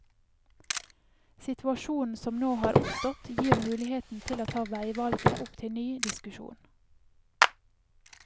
Situasjonen som nå har oppstått, gir muligheten til å ta veivalget opp til ny diskusjon.